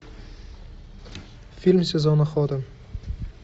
фильм сезон охоты